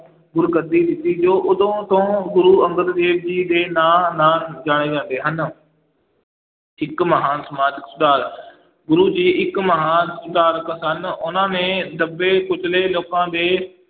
ਗੁਰਗੱਦੀ ਦਿੱਤੀ ਜੋ ਉਦੋਂ ਤੋਂ ਗੁਰੂ ਅੰਗਦ ਦੇਵ ਜੀ ਦੇ ਨਾਂ ਨਾਲ ਜਾਣੇ ਜਾਂਦੇ ਹਨ ਇੱਕ ਮਹਾਨ ਸਮਾਜਕ ਸੁਧਾਰ, ਗੁਰੂ ਜੀ ਇੱਕ ਮਹਾਨ ਸੁਧਾਰਕ ਸਨ, ਉਹਨਾਂ ਨੇ ਦੱਬੇ ਕੁਚਲੇ ਲੋਕਾਂ ਦੇ